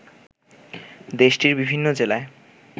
দেশটির বিভিন্ন জেলায়